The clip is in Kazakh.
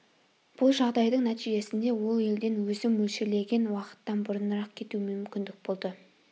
бұл жағдайдың нәтижесінде ол елден өзім мөлшерлеген уақыттан бұрынырақ кетуіме мүмкіндік болды